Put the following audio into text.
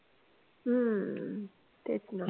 हम्म तेच ना